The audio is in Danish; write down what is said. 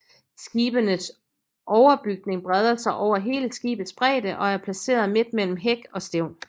Skibenes overbygning breder sig over hele skibets bredde og er placeret midt mellem hæk og stævn